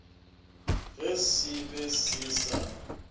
ge se be se sa